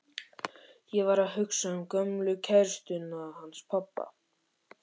Ég var að hugsa um gömlu kærustuna hans pabba.